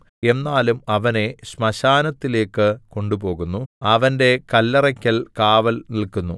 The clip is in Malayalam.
എന്നാലും അവനെ ശ്മശാനത്തിലേക്ക് കൊണ്ടുപോകുന്നു അവന്റെ കല്ലറയ്ക്കൽ കാവൽനില്ക്കുന്നു